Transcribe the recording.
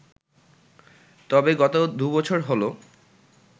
তবে গত দুবছর হল